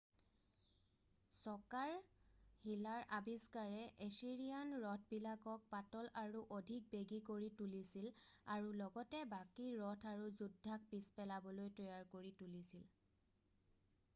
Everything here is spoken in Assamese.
চকাৰ শিলাৰ আবিষ্কাৰে এছিৰিয়ান ৰথবিলাকক পাতল আৰু অধিক বেগী কৰি তুলিছিল আৰু লগতে বাকী ৰথ আৰু যোদ্ধাক পিছ পেলাবলৈ তৈয়াৰ কৰি তুলিছিল